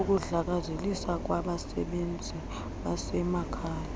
ukudlakazeliswa kwabasebenzi basemakhaya